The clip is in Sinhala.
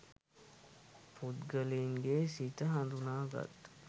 පුද්ගලයින්ගේ සිත හඳුනාගත්